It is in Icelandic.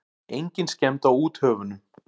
Engin skemmd á úthöfunum.